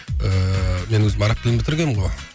ыыы мен өзім араб тілін бітіргенмін ғой